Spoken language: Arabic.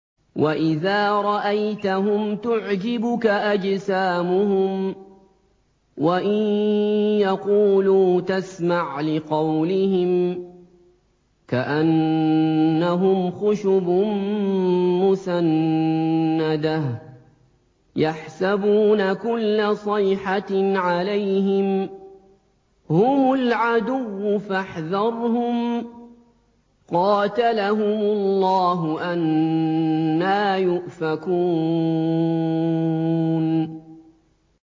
۞ وَإِذَا رَأَيْتَهُمْ تُعْجِبُكَ أَجْسَامُهُمْ ۖ وَإِن يَقُولُوا تَسْمَعْ لِقَوْلِهِمْ ۖ كَأَنَّهُمْ خُشُبٌ مُّسَنَّدَةٌ ۖ يَحْسَبُونَ كُلَّ صَيْحَةٍ عَلَيْهِمْ ۚ هُمُ الْعَدُوُّ فَاحْذَرْهُمْ ۚ قَاتَلَهُمُ اللَّهُ ۖ أَنَّىٰ يُؤْفَكُونَ